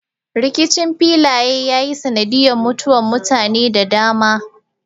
Rikicin filaye ya yi sanadiyar mutuwar mutane da dama.